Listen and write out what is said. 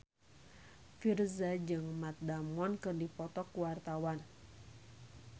Virzha jeung Matt Damon keur dipoto ku wartawan